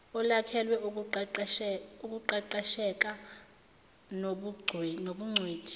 olwakhelwe ukuqeqesheka nobungcweti